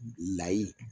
Layi